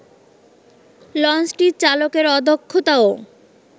লঞ্চটির চালকের অদক্ষতাও